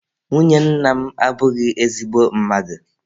Nwunye nna m abụghị ezigbo mmadụ.